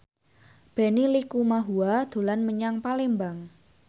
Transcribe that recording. Benny Likumahua dolan menyang Palembang